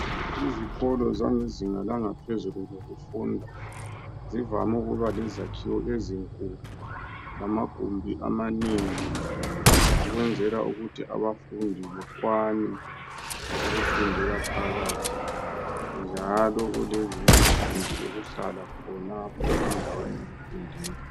Izikolo zangezinga langaphezulu zokufunda zivame ukuba lezakhiwo ezinkulu lamagumbi amanengi ukwenzela ukuthi abafundi bekwane ukufundela phakathi njalo kulamagumbi okuhlala khonapho endaweni yokufundela.